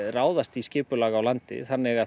ráðast í skipulag á landi þannig